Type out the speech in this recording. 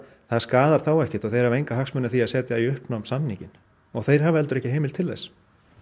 það skaðar þá ekkert og þeir hafa enga hagsmuni af því að setja í uppnám samninginn og þeir hafa heldur ekki heimild til þess